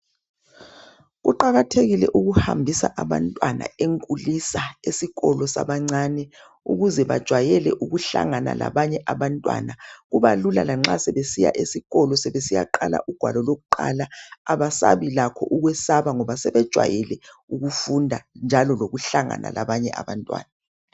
Kuqakathekile ukuhambisa abantwana enkulisa esikolo sabancane ukuze bajwayele ukuhlangana labanye abantwana kubalula lanxa sebesiya esikolo sebesiyaqala ugwalo lokuqala abasabi lakho ukwesaba ngoba sebejwayele ukufunda njalo lokuhlangana labanye abantwana .